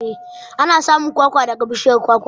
Ana samun kwakwa daga bishiyar kwakwa.